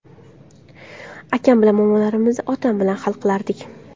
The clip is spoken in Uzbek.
Akam bilan muammolarimizni otam bilan hal qilardik.